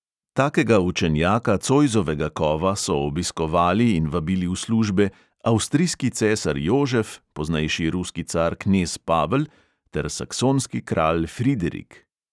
Takega učenjaka cojzovega kova so obiskovali in vabili v službe: avstrijski cesar jožef, poznejši ruski car knez pavel ter saksonski kralj friderik.